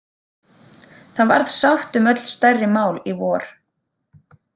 Það varð sátt um öll stærri mál í vor.